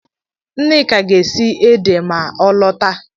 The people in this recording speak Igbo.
Nneka ga-esi ede ma ọ lọta